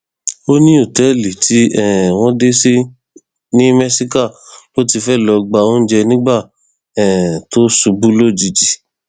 ó ní òtẹẹlì tí um wọn dé sí ní mẹsíkà ló ti fẹẹ lọọ gba oúnjẹ nígbà um tó ṣubú lójijì